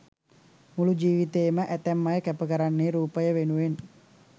මුළු ජීවිතේ ම ඇතැම් අය කැප කරන්නේ රූපය වෙනුවෙන්.